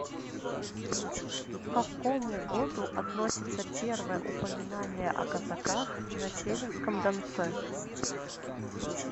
к какому году относится первое упоминание о казаках на северском донце